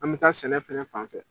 An bɛ taa sɛnɛ fɛnɛ fan fɛ.